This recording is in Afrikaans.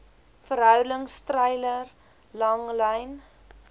verhoudings treiler langlyn